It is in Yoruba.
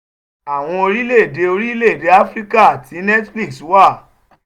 àwọn orílẹ̀-èdè orílẹ̀-èdè áfíríkà tí netflix wà: